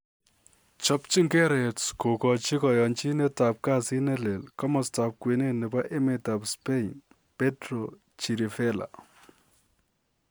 Chopchinge Reds kogochi koyonchinet ab kasit ne lel komostab kwenet nebo emetab Spain Pedro Chirivella.